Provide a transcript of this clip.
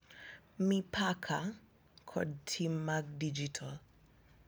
Mipaka, kod tim mag dijital.